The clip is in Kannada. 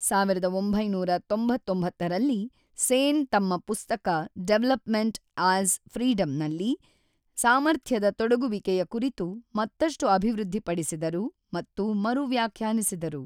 ೧೯೯೯ ರಲ್ಲಿ, ಸೇನ್ ತಮ್ಮ ಪುಸ್ತಕ 'ಡೆವಲಪ್‌ಮೆಂಟ್ ಆಸ್ ಫ್ರೀಡಮ್‌'ನಲ್ಲಿ ಸಾಮರ್ಥ್ಯದ ತೊಡಗುವಿಕೆಯ ಕುರಿತು ಮತ್ತಷ್ಟು ಅಭಿವೃದ್ಧಿಪಡಿಸಿದರು ಮತ್ತು ಮರು ವ್ಯಾಖ್ಯಾನಿಸಿದರು.